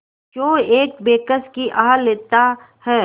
क्यों एक बेकस की आह लेता है